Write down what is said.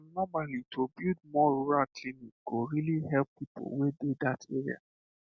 um normally to build more rural clinic go really help people wey dey that area